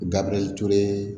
Gabiriyɛri ture